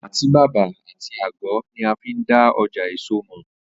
Àtíbàbà àti àgó̩ ni a fi n dá o̩jà èso mò̩